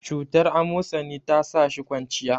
cutar amosani ta sa shi kwanciya